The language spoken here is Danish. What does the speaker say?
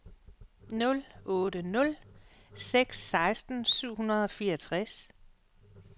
nul otte nul seks seksten syv hundrede og fireogtres